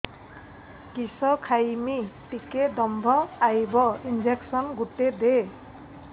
କିସ ଖାଇମି ଟିକେ ଦମ୍ଭ ଆଇବ ଇଞ୍ଜେକସନ ଗୁଟେ ଦେ